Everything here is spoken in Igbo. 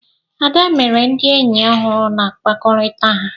Ada mere ndị enyi ọhụrụ na mkpakọrịta ha.